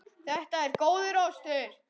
Þetta er góður ostur.